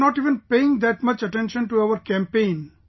They were not even paying that much attention to our campaign